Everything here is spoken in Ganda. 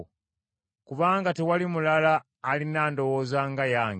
Kubanga tewali mulala alina ndowooza nga yange,